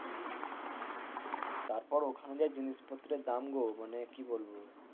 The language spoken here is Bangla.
তারপর ওখানে যা জিনিসপত্রের দাম গো মানে কি বলবো?